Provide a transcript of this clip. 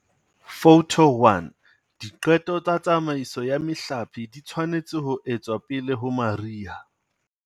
Photo 1- Diqeto tsa tsamaiso ya mehlape di tshwanetse ho etswa pele ho mariha.